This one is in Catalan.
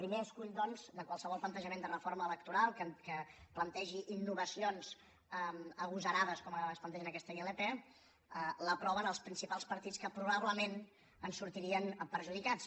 primer escull doncs de qualsevol plantejament de reforma electoral que plantegi innovacions agosarades com es plantegen en aquesta ilp l’aproven els principals partits que probablement en sortirien perjudicats